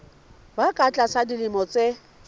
ba ka tlasa dilemo tse